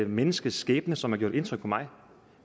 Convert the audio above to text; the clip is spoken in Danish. menneskes skæbne som har gjort indtryk på mig